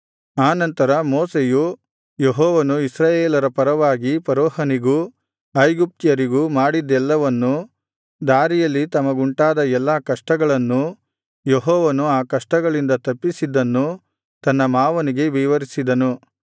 ಆ ನಂತರ ಮೋಶೆಯು ಯೆಹೋವನು ಇಸ್ರಾಯೇಲರ ಪರವಾಗಿ ಫರೋಹನಿಗೂ ಐಗುಪ್ತ್ಯರಿಗೂ ಮಾಡಿದ್ದೆಲ್ಲವನ್ನೂ ದಾರಿಯಲ್ಲಿ ತಮಗುಂಟಾದ ಎಲ್ಲಾ ಕಷ್ಟಗಳನ್ನೂ ಯೆಹೋವನು ಆ ಕಷ್ಟಗಳಿಂದ ತಪ್ಪಿಸಿದ್ದನ್ನೂ ತನ್ನ ಮಾವನಿಗೆ ವಿವರಿಸಿದನು